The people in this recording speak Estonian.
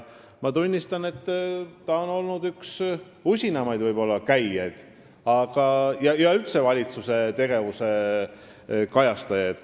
Ma tunnistan, et ta on olnud üks usinamaid käijaid ja üldse valitsuse tegevuse kajastajaid.